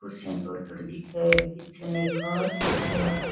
कुर्सियां थोड़ी थोड़ी दिखे है पीछे ने एक कांच है।